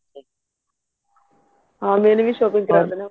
ਹਾਂ ਮੈਨੇ ਵੀ shopping ਕਰਨੀ ਐ